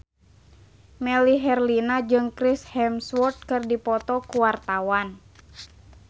Melly Herlina jeung Chris Hemsworth keur dipoto ku wartawan